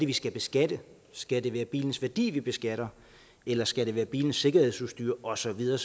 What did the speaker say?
vi skal beskatte skal det være bilens værdi vi beskatter eller skal det være bilens sikkerhedsudstyr og så videre